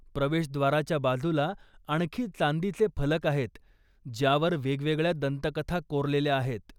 प्रवेशद्वाराच्या बाजूला आणखी चांदीचे फलक आहेत ज्यावर वेगवेगळ्या दंतकथा कोरलेल्या आहेत.